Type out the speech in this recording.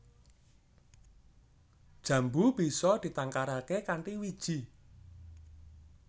Jambu bisa ditangkaraké kanthi wiji